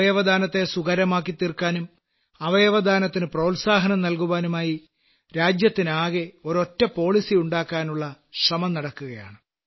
അവയവദാനത്തെ സുകരമാക്കിത്തീർക്കാനും അവയവദാനത്തിനു പ്രോത്സാഹനം നല്കുവാനുമായി രാജ്യത്തിനാകെ ഒരൊറ്റ നയം രൂപീകരിക്കാനുള്ള ശ്രമം നടക്കുകയാണ്